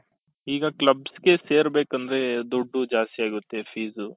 ಈಗ clubs ಗೆ ಸೇರ್ಬೇಕಂದ್ರೆ ದುಡ್ಡು ಜಾಸ್ತಿ ಆಗುತ್ತೆ fees